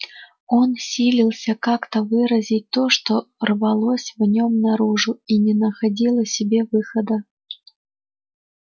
он силился как-то выразить то что рвалось в нём наружу и не находило себе выхода